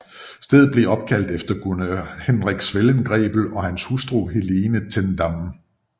Stedet blev opkaldt efter guvernør Hendrik Swellengrebel og hans hustru Helena Ten Damme